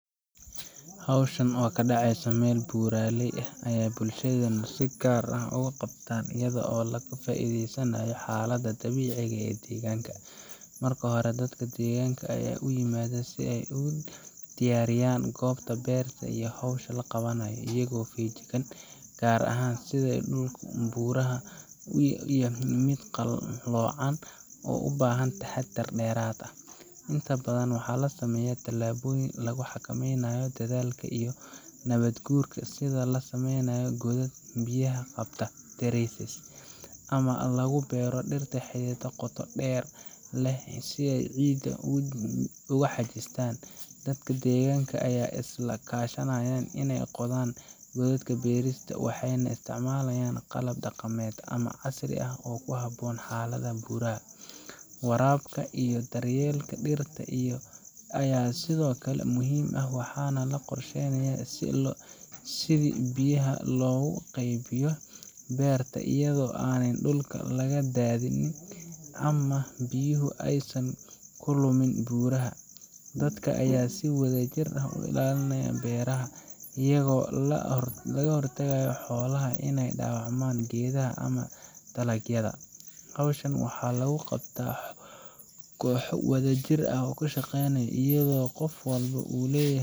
Hawshan oo ka dhacaysa meel buuraley ah ayaa bulshadeenu si gaar ah ugu qabataa iyada oo laga faa’iideysanayo xaaladda dabiiciga ah ee deegaanka. Marka hore, dadka deegaanka ayaa isu yimaada si ay u diyaariyaan goobta beerta ama hawsha la qabanayo, iyagoo feejignaan gaar ah u leh sida dhulka buuraha u yahay mid qalloocan oo u baahan taxaddar dheeraad ah. Inta badan, waxaa la sameeyaa tallaabooyin lagu xakameynayo daadadka iyo nabaadguurka, sida in la sameeyo godad biyaha qabta terraces ama lagu beero dhirta xididdada qoto dheer leh si ay ciidda u xajistaan. Dadka deegaanka ayaa iska kaashanaya inay qodaan godadka beerista, waxayna isticmaalaan qalab dhaqameed ama casri ah oo ku habboon xaaladda buuraha. Waraabka iyo daryeelka dhirta ayaa sidoo kale muhiim ah, waxaana la qorsheeyaa sidii biyaha loogu qaybiyo beerta iyadoo aanay dhulka laga daadin ama biyuhu aysan ku luminin buuraha. Dadka ayaa si wadajir ah u ilaalinaya beeraha, iyagoo ka hortagaya xoolaha inay dhaawacaan geedaha ama dalagyada. Hawshan waxaa lagu qabtaa kooxo si wadajir ah u shaqeeya, iyadoo qof walba uu leeyahay.